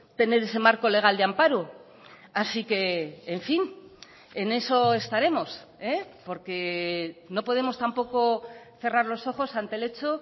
tener ese marco legal de amparo así que en fin en eso estaremos porque no podemos tampoco cerrar los ojos ante el hecho